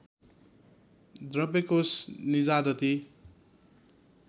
द्रव्य कोष निजादती